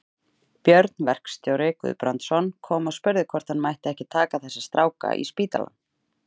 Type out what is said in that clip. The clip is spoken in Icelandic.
Björn verkstjóri Guðbrandsson kom og spurði hvort hann mætti ekki taka þessa stráka í spítalann.